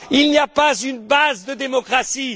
Il n'y a pas une base de démocratie.